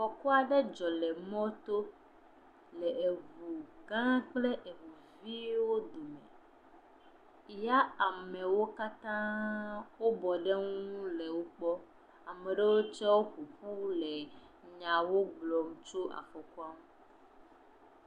Afɔku aɖe dzɔ le emɔto le eŋugʋwo kple eŋuviwo dome, ya amewo katã bɔ ɖe woŋu le wokpɔm, amewo tse ƒoƒu le nyawo gblɔm tso afɔkua ŋu.